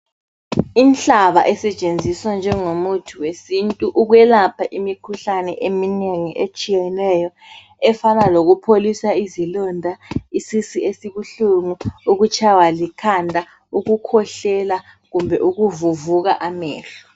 Inhlaba isetshenziswa njengo muthi wesintu ukwelapha imikhuhlane eminengi etshiyeneyo, efana lokupholisa izilonda, isisu esibuhlungu, ukutshaywa likhanda, ukukhwehlela kumbe ukuvuvuka amehlo.